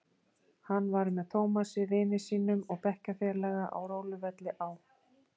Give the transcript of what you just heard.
Hann var með Tómasi vini sínum og bekkjarfélaga á róluvelli á